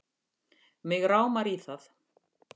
Mig rámar í það